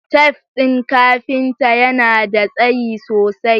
Taf din kafinta yana da tsayi sosai